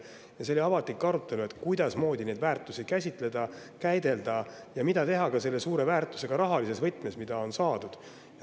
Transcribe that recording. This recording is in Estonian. Siis oli avalik arutelu, kuidasmoodi neid väärtusi käsitleda ja käidelda ning mida teha selle saadud suure väärtusega rahalises võtmes.